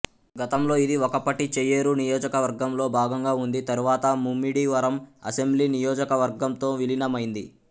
గతంలో ఇది ఒకప్పటి చెయ్యేరు నియోజకవర్గంలో భాగంగా ఉంది తరువాత ముమ్మిడివరం అసెంబ్లీ నియోజకవర్గంతో విలీనమైంది